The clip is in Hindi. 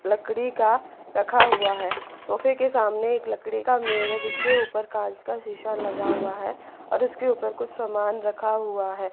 लकड़ी का रखा हुआ है सोफे के सामने एक लकड़ी का मेज जिसके ऊपर कांच का शीशा लगा हुआ है और उसके ऊपर कुछ सामान रखा हुआ है।